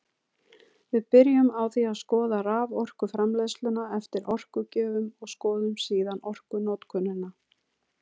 Við byrjum á því að skoða raforkuframleiðsluna eftir orkugjöfum og skoðum síðan orkunotkunina.